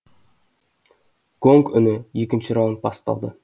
гонг үні екінші раунд басталды